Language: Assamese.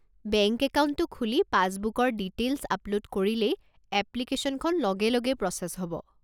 বেংক একাউণ্টটো খুলি পাছবুকৰ ডিটেইল্ছ আপল'ড কৰিলেই এপ্লিকেশ্যনখন লগে লগেই প্ৰ'চেছ হ'ব।